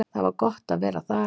Það var gott að vera þar.